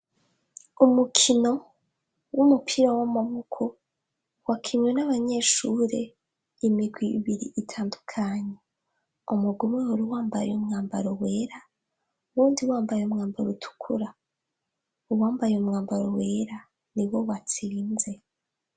umukino w'umupira w'amaboko wakinwe n'abanyeshure imigwi ibiri itandukanye umugwi umwe wari wambaye umwambaro wera wundi wambaye umwambaro utukura uwambaye umwambaro wera ni wo watsinze